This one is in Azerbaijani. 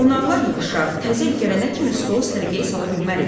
qonaqlar yığışar, təzə il gələnə kimi stolu səliqəyə sala bilmərik.